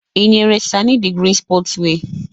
Ị nyere sani the green sport wear?